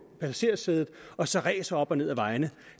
passagersædet og så racer op og ned ad vejene